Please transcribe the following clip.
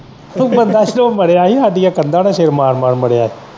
ਬੰਦਾ ਸਾਡੀਆਂ ਕੰਦਾ ਨਾਲ ਸਰ ਮਾਰ ਮਾਰ ਮਰਿਆ ਹੀ।